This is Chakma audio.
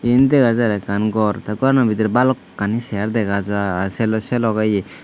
yin dega jar ekkan gor tey gorano bidirey balokkani segar dega jar sei lo sei logey ye.